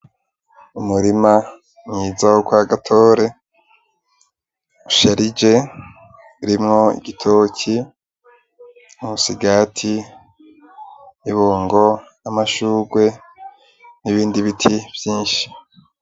Umurima mwiza wo kwa GATORE usharije urimwo igitoki, umusigati, ibungo, amashurwe, n'ibindi biti vyinshi.